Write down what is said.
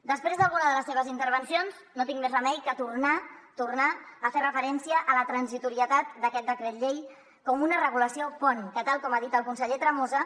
després d’alguna de les seves intervencions no tinc més remei que tornar tornar a fer referència a la transitorietat d’aquest decret llei com una regulació pont que tal com ha dit el conseller tremosa